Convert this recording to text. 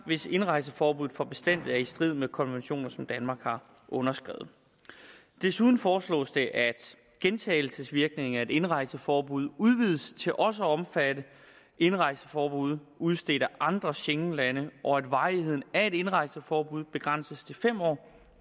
hvis indrejseforbud for bestandig er i strid med konventioner som danmark har underskrevet desuden foreslås det at gentagelsesvirkningen af et indrejseforbud udvides til også at omfatte indrejseforbud udstedt af andre schengenlande og at varigheden af et indrejseforbud begrænses til fem år